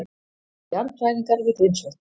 Jarðhræringar við Grímsvötn